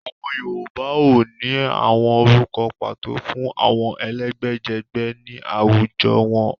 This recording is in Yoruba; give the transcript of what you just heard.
Àwọn Yorùbá óò ní àwọn orúkọ pàtó fún àwọn ẹ̀lẹ́gbẹ́jẹgbẹ́ ni awujọ wọn.